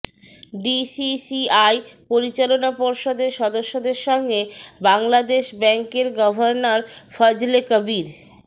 DCCI পরিচালনা পর্ষদের সদস্যদের সঙ্গে বাংলাদেশ ব্যাংকের গভর্নর ফজলে কবির